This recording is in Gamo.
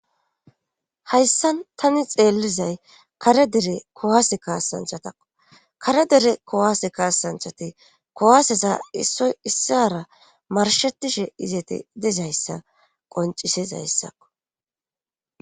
hayssan tani xeellizay kare dere kowaase kaassanchatakko kare dere kowaase kaasanchati kowaseza issoy issara marshetishe izeti dizayssa qoncisez ayssakko